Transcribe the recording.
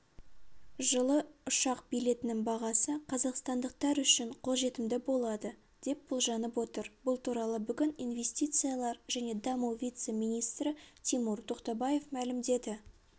жылы ұшақ билетінің бағасы қазақстандықтар үшін қолжетімді болады деп болжанып отыр бұл туралы бүгін инвестициялар және даму вице-министрі тимур тоқтабаев мәлімдеді